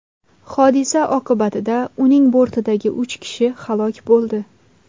Hodisa oqibatida uning bortidagi uch kishi halok bo‘ldi.